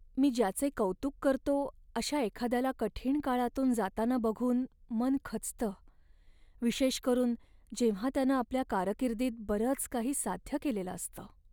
मी ज्याचे कौतुक करतो अशा एखाद्याला कठीण काळातून जाताना बघून मन खचतं, विशेष करून जेव्हा त्यानं आपल्या कारकिर्दीत बरंच काही साध्य केलेलं असतं.